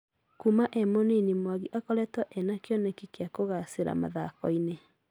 Kuuma è mũnini mwangi akoretwo na kĩoneki gĩa kugacira mathokini.